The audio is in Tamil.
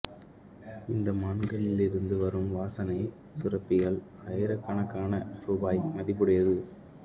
இந்த மான்களிலிருந்து வரும் வாசனை சுரப்பிகள் ஆயிரக்கணக்கான ரூபாய் மதிப்புடையது